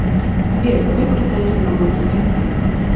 сбер давай покатаемся на мотике